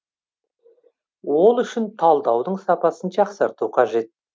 ол үшін талдаудың сапасын жақсарту қажет